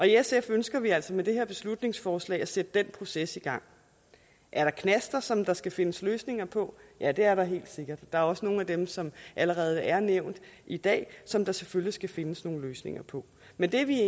sf ønsker vi altså med det her beslutningsforslag at sætte den proces i gang er der knaster som der skal findes løsninger på ja det er der helt sikkert der er også nogle af dem som allerede er nævnt i dag som der selvfølgelig skal findes nogle løsninger på men det er vi